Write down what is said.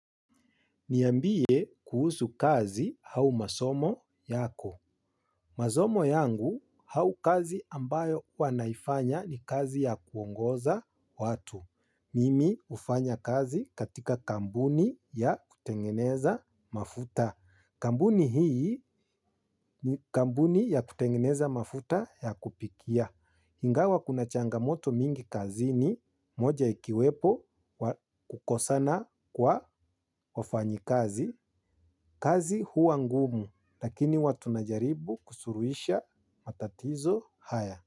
Niambie kuhusu kazi au masomo yako. Masomo yangu au kazi ambayo huwa naifanya ni kazi ya kuongoza watu. Mimi ufanya kazi katika kambuni ya kutengeneza mafuta. Kampuni hii ni kampuni ya kutengeneza mafuta ya kupikia. Ingawa kuna changamoto mingi kazini, moja ikiwepo kukosana kwa wafanyikazi, kazi huwa ngumu, lakini huwa tunajaribu kusuluhisha matatizo haya.